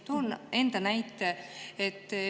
Toon enda näite.